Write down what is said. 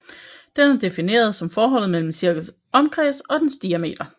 Den er defineret som forholdet mellem en cirkels omkreds og dens diameter